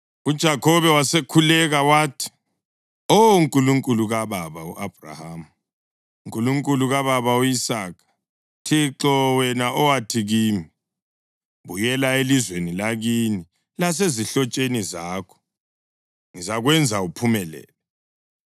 UJakhobe wasekhuleka wathi, “Oh Nkulunkulu kababa u-Abhrahama, Nkulunkulu kababa u-Isaka, Thixo, wena owathi kimi, ‘Buyela elizweni lakini lasezihlotsheni zakho, ngizakwenza uphumelele,’